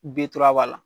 Bitura b'a la